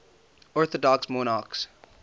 orthodox monarchs